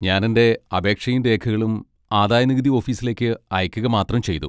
ഞാൻ എൻ്റെ അപേക്ഷയും രേഖകളും ആദായനികുതി ഓഫീസിലേക്ക് അയക്കുക മാത്രം ചെയ്തു.